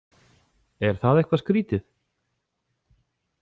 Er það eitthvað skrítið?